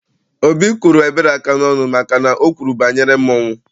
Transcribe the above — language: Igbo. Obi kụrụ Ebere aka n'ọnụ maka na o kwuru banyere mmọnwụ.